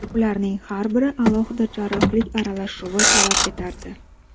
Ularning har biri alohida jarrohlik aralashuvini talab etardi.